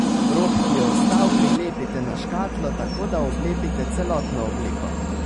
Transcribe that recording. Rob, ki je ostal, prilepite na škatlo, tako da oblepite celotno obliko.